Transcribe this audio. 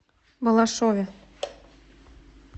балашове